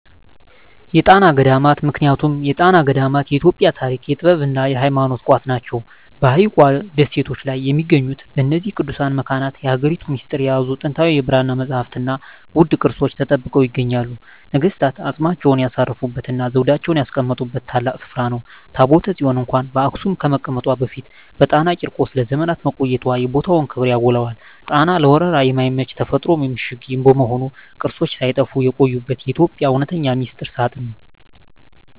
የጣና ገዳማት ምክንያቱም የጣና ገዳማት የኢትዮጵያ የታሪክ፣ የጥበብና የሃይማኖት ቋት ናቸው። በሐይቁ ደሴቶች ላይ በሚገኙት በእነዚህ ቅዱሳት መካናት፣ የሀገሪቱን ሚስጥር የያዙ ጥንታዊ የብራና መጻሕፍትና ውድ ቅርሶች ተጠብቀው ይገኛሉ። ነገሥታት አፅማቸውን ያሳረፉበትና ዘውዳቸውን ያስቀመጡበት ታላቅ ስፍራ ነው። ታቦተ ጽዮን እንኳን በአክሱም ከመቀመጧ በፊት በጣና ቂርቆስ ለዘመናት መቆየቷ የቦታውን ክብር ያጎላዋል። ጣና ለወረራ የማይመች የተፈጥሮ ምሽግ በመሆኑ፣ ቅርሶች ሳይጠፉ የቆዩበት የኢትዮጵያ እውነተኛ ሚስጥር ሳጥን ነው።